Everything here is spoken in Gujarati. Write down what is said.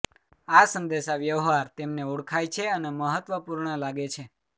આ સંદેશાવ્યવહાર તેમને ઓળખાય છે અને મહત્વપૂર્ણ લાગે છે